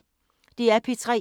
DR P3